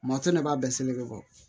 Matu de b'a bɛɛ seli kɛ bɔ